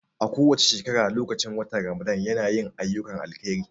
A kowace shekara lokacin watan Ramadan ya na yin ayyukan alheri